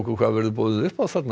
hvað verður boðið upp á